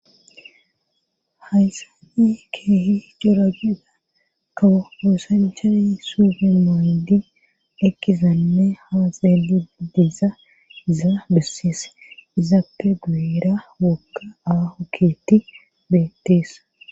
hayssa i keehi goragiga kawohosanchayi sufemandi ekizanme hazelidiza zaabesis izapeguera wokka awahoketi beteesa